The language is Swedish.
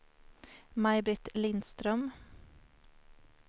Maj-Britt Lindström